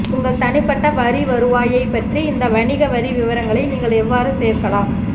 உங்கள் தனிப்பட்ட வரி வருவாயைப் பற்றி இந்த வணிக வரி விவரங்களை நீங்கள் எவ்வாறு சேர்க்கலாம்